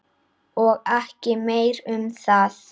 Og ekki meira um það.